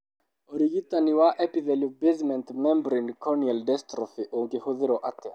Ũrigitani wa epithelial basement membrane corneal dystrophy ũngĩhũthĩrũo atĩa?